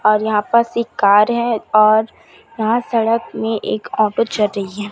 और यहां पास एक कार है और यहां सड़क में एक ऑफर चल रही है।